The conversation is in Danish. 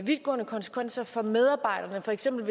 vidtgående konsekvenser for medarbejderne for eksempel